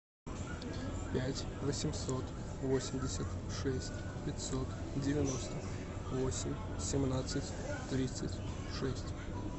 пять восемьсот восемьдесят шесть пятьсот девяносто восемь семнадцать тридцать шесть